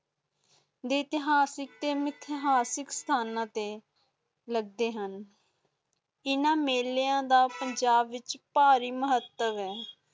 ਇਤਿਹਾਸਿਕ ਸੇ ਇਤਮਹਾਸਿਕ ਸਥਾਨਾਂ ਤੇ ਲੱਗਦੇ ਹੁਣ ਇੰਨਾ ਮੇਲਿਆਂ ਦਾ ਪੰਜਾਬ ਵਿਚ ਪਾਰਿ ਮਹੱਤਵ ਹੈ